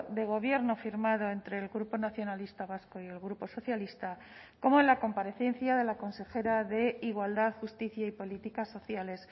de gobierno firmado entre el grupo nacionalista vasco y el grupo socialista como en la comparecencia de la consejera de igualdad justicia y políticas sociales